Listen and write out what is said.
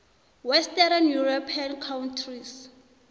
western european countries